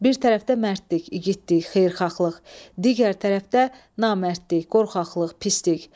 Bir tərəfdə mərdlik, igidlik, xeyirxahlıq, digər tərəfdə namərdlik, qorxaqlıq, pislik.